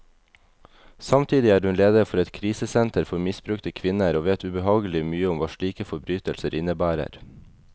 Samtidig er hun leder for et krisesenter for misbrukte kvinner, og vet ubehagelig mye om hva slike forbrytelser innebærer.